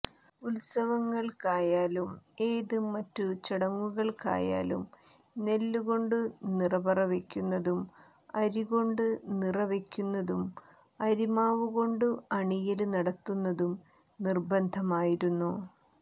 ഉത്സവങ്ങള്ക്കായാലും ഏത് മറ്റു ചടങ്ങുകള്ക്കായാലും നെല്ലുകൊണ്ടു നിറപറവെയ്ക്കുന്നതും അരികൊണ്ടു നിറവെയ്ക്കുന്നതും അരിമാവുകൊണ്ടു അണിയല് നടത്തുന്നതും നിര്ബന്ധമായിരുന്നു